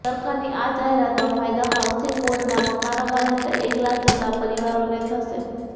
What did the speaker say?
સરકારની આ જાહેરાતનો ફાયદો હાઉસિંગ બોર્ડના મકાનોમાં રહેતા એક લાખ જેટલા પરિવારોને થશે